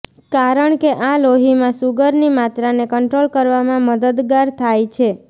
કારણ કે આ લોહીમાં શુગરની માત્રાને કંટ્રોલ કરવામાં મદદગાર થાય છે